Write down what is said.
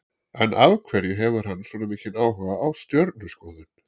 En af hverju hefur hann svona mikinn áhuga á stjörnuskoðun?